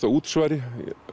af útsvari